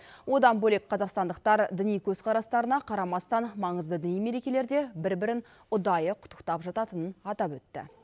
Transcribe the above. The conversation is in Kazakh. одан бөлек қазақстандықтар діни көзқарастарына қарамастан маңызды діни мерекелерде бір бірін ұдайы құттықтап жататынын атап өтті